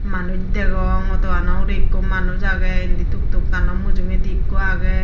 manus degong auto gano urey ekko manus aagay indi tuk tuk kanow mujungedi ekko aagay.